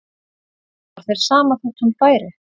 Var þér sama þótt hún færi?